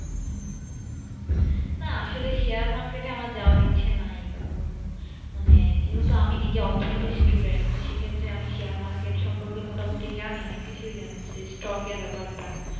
না আসলে আমার Share market এ আমার জাবের ইচ্ছে নাই কারণ যেহেতু আমি নিজেই অর্থ নীতি Student সে ক্ষেত্রে আমি Share market সম্পর্কে মোটা মুক্তি জানি অনেক কিছু জানি সত্যকে এর বাপের টা।